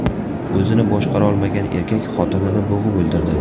O‘zini boshqarolmagan erkak xotinini bo‘g‘ib o‘ldirdi.